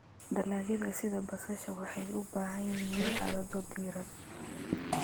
Dalagyada sida basasha waxay u baahan yihiin xaalado diiran.